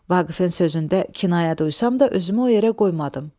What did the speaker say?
Vaqifin sözündə kinayə duysam da, özümü o yerə qoymadım.